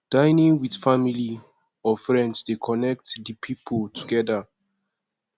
dinning with family or friends de connect di pipo together